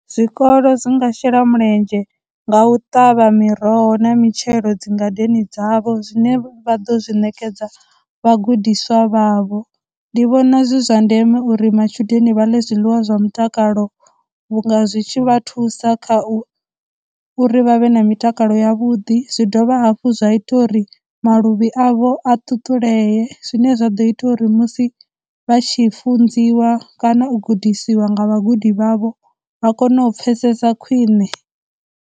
Zwikolo zwinga shela mulenzhe nga u ṱavha miroho na mitshelo dzingadeni dzavho zwine vha ḓo zwi ṋekedza vhagudiswa vha vho, ndi vhona zwi zwa ndeme uri matshudeni vha ḽe zwiḽiwa zwa mutakalo vhunga zwi tshi vha thusa kha u uri vha vhe na mitakalo ya vhuḓi, zwi dovha hafhu zwa ita uri maluvhi avho a ṱuṱulea, zwine zwa ḓo ita uri musi vha tshi funziwa kana u gudisiwa nga vhagudi vha vho vha kone u pfhesesa khwine.